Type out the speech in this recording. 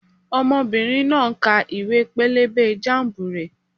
Ọmọbìnrin náà ń ka ìwé-pélébé jámùbù rẹ̀